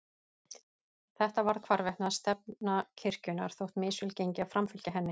Þetta varð hvarvetna stefna kirkjunnar þótt misvel gengi að framfylgja henni.